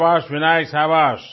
शाबाश विनायक शाबाश